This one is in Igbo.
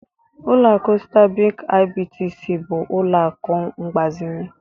Ụlọakụ Stanbik IBTC bụ ụlọ akụ mgbazinye.